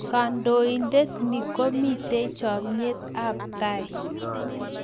Kandoindet ni komitei chamait ap tai